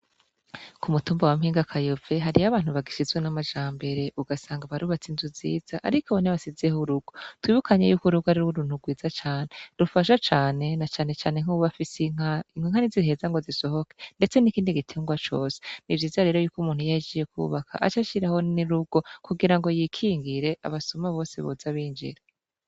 Ku mutumba wa Mpingakayove hariyo abantu bagisizwe n'amajambere ugasanga barubatse inzu nziza ariko ntibasizeho urugo, twibukanye yuko urugo ari uruntu rwiza cane rufasha cane na canecane nk'uwuba afise inka, inka ntiziheza ngo zisohoke ndetse n'ikindi gitungwa cose, ni vyiza rero yuko umuntu iyo ahejeje kubaka aca ashiraho n'urugo kugira ngo yikingire abasuma bose boza binjira.